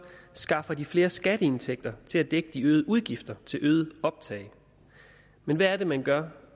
skaffer de flere skatteindtægter til at dække de øgede udgifter til øget optag men hvad er det man gør